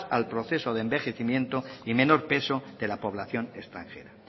al proceso de envejecimiento y menor peso de la población extranjera